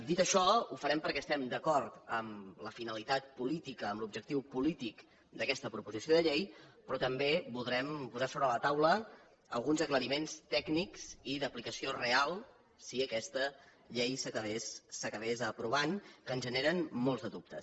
dit això ho farem perquè estem d’acord amb la finalitat política amb l’objectiu polític d’aquesta proposició de llei però també voldrem posar sobre la taula alguns aclariments tècnics i d’aplicació real si aquesta llei s’acabés aprovant que ens generen molts de dubtes